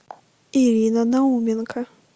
ирина науменко